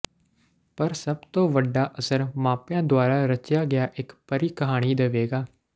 ਪਰ ਸਭ ਤੋਂ ਵੱਡਾ ਅਸਰ ਮਾਪਿਆਂ ਦੁਆਰਾ ਰਚਿਆ ਗਿਆ ਇਕ ਪਰੀ ਕਹਾਣੀ ਦੇਵੇਗਾ